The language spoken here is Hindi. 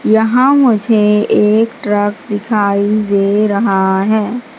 यहाँ मुझे एक ट्रक दिखाई दे रहा हैं।